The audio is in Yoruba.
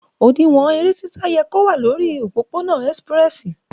Òdín wọn ẹrẹ sisa yẹ ko wà lòrí òpòpò nà esipirẹsi